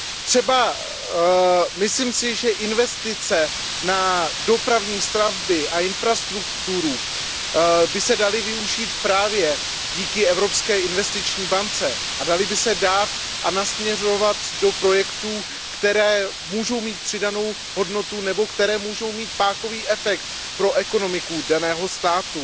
Třeba myslím si, že investice na dopravní stavby a infrastrukturu by se daly využít právě díky Evropské investiční bance a daly by se dát a nasměrovat do projektů, které mohou mít přidanou hodnotu nebo které mohou mít pákový efekt pro ekonomiku daného státu.